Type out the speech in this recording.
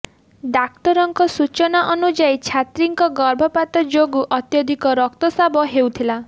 ଡାକ୍ତରଙ୍କ ସୁଚନା ଆନୁଯାୟୀ ଛାତ୍ରୀ ଙ୍କ ଗର୍ଭପାତ ଯୋଗୁଁ ଅତ୍ୟଧିକ ରକ୍ତସ୍ରାବ ହେଉଥିଲା